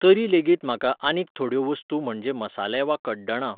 तरी लेगीत म्हाका आनीक थोेड्यो वस्तू म्हणजे मसाले वा कड्डणां